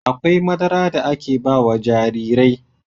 Akwai madara da aka ba wa jarirai..